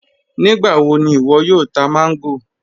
Nígbàwọ̀ ni iwo yóò tà mango?